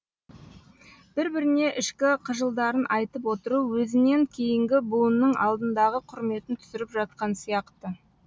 бір біріне ішкі қыжылдарын айтып отыру өзінен кейінгі буынның алдындағы құрметін түсіріп жатқан сияқты